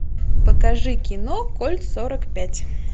покажи кино кольт сорок пять